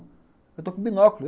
Eu estou com binóculo.